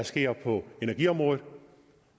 sker på energiområdet